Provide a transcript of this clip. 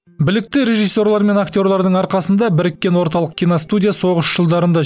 білікті режиссерлер мен актерлердің арқасында біріккен орталық киностудия соғыс жылдарында